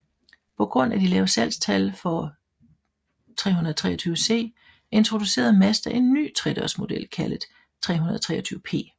På grund af de lave salgstal for 323C introducerede Mazda en ny tredørsmodel kaldet 323P